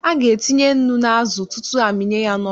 A ga-etinye nnu n'azụ, tutu a mịnye ya n'ọkụ.